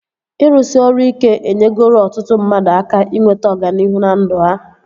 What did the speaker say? Ịrụsị ọrụ ike enyegoro ọtụtụ mmadụ aka inweta ọganihu na ndụ ha